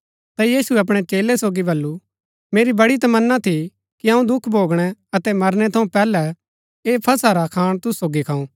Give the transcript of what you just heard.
ता यीशुऐ अपणै चेलै सोगी बल्लू मेरी बड़ी तमन्ना थी कि अऊँ दुख भोगणै अतै मरनै थऊँ पैहलै ऐह फसह रा खाण तुसु सोगी खाऊँ